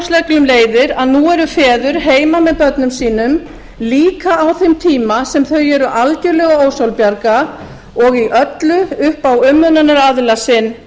orlofsreglum leiðir að nú eru feður heima með börnum sínum líka á þeim tíma sem þau eru algerlega ósjálfbjarga og í öllu upp á umönnunaraðila sinn